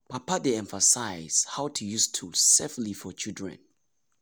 papa dey emphasize how to use tools safely for children.